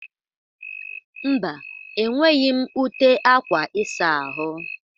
Mba, e nweghi m ute akwa ịsa ahụ?